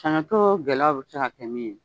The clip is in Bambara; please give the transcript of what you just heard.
gɛlɛyaw bɛ se ka kɛ min ye